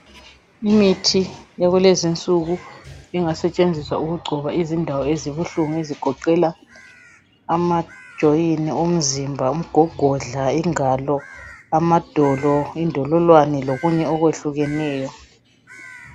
Imithi yakulezi insuku engasetshenziswa ukugcoba endaweni ezibuhlungu ezigoqela amajoyini, umzimba, umgogodla, ingalo, amadolo, indololwane lokunye okwehlukeneyo.